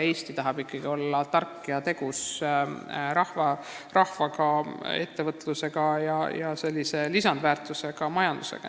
Eesti tahab ikkagi olla targa ja tegusa rahvaga riik, kus on oma ettevõtlus ja lisandväärtusega majandus.